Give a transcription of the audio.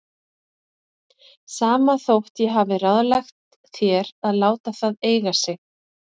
Sama þótt ég hafi ráðlagt þér að láta það eiga sig.